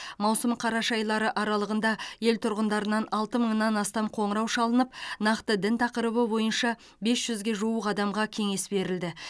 маусым қараша айлары аралығында ел тұрғындарынан алты мыңнан астам қоңырау шалынып нақты дін тақырыбы бойынша бес жүзге жуық адамға кеңес берілді